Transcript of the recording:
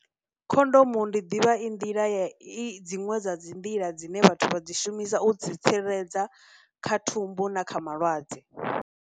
Khondomu ndi ḓivha i nḓila ya i dziṅwe dza dzi nḓila dzine vhathu vha dzi shumisa u dzi tsireledza kha thumbu na kha malwadze.